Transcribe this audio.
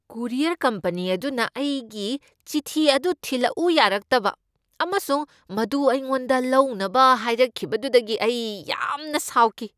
Courier company ꯑꯗꯨꯅ ꯑꯩꯒꯤ ꯆꯤꯊꯤ ꯑꯗꯨ ꯊꯤꯂꯛꯎ ꯌꯥꯔꯛꯇꯕ ꯑꯃꯁꯨꯡ ꯃꯗꯨ ꯑꯩꯉꯣꯟꯗ ꯂꯧꯅꯕ ꯍꯥꯏꯔꯛꯈꯤꯕꯗꯨꯗꯒꯤ ꯑꯩ ꯌꯥꯝꯅ ꯁꯥꯎꯈꯤ ꯫